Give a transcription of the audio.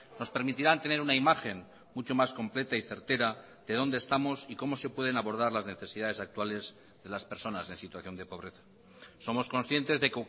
nos permitirán tener una imagen mucho más completa y certera de dónde estamos y cómo se pueden abordar las necesidades actuales de las personas en situación de pobreza somos conscientes de